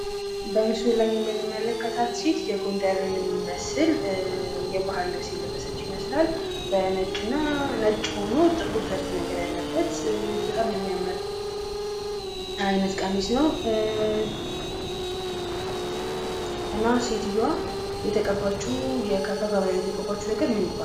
በምስሉ ላይ የምንመለከታት ሴት የጎንደርን የሚመስል የባህል ልብስ የለበሰች ይመስላል። በነጭና ነጭ ሁኖ ጥቁር ዘርፍ ያለበት በጣም የሚያም አይነት ቀሚስ ነው። እና ሴትዮዋ የተቀባችው ከንፈሯ ላይ የተቀባችው ነገር ምን ይባላል?